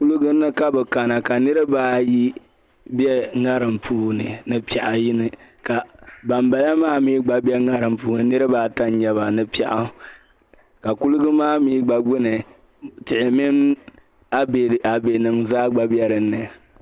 Kuliga ni ka bi kana ka niriba ayi be ŋarim puuni ni piɛɣu yini. Ka ban bala maa mi gba be ŋarim puuni, niriba ata n-nyɛ ba, ni piɛɣu. Ka kuliga maa mi gba gbunni, tihi min abɛ nim zaa gba be din ni.